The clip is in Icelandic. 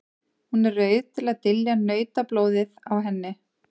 Hún er rauð til að dylja nautablóðið á henni.